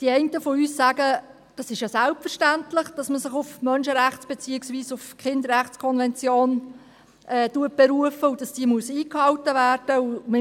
Die einen von uns sagen: «Das ist ja selbstverständlich, dass man sich auf die Menschenrechts- beziehungsweise auf die Kinderrechtskonvention beruft und dass diese eingehalten werden muss.